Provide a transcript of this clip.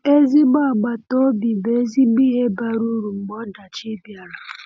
Ezigbo agbata obi bụ ezigbo ihe bara uru mgbe ọdachi bịara.